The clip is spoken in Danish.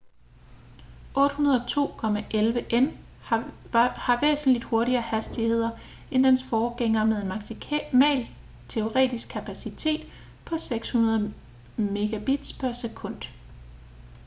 802.11n har væsentligt hurtigere hastigheder end dens forgængere med en maksimal teoretisk kapacitet på 600 mbit/s